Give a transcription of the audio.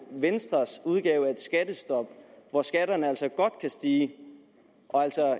venstres udgave af et skattestop hvor skatterne altså godt kan stige og